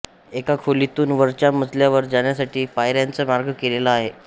एका खोलीतून वरच्या मजल्यावर जाण्यासाठी पायऱ्यांचा मार्ग केलेला आहे